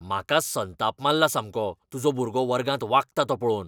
म्हाका संताप मारला सामको तुजो भुरगो वर्गांत वागता तो पळोवन.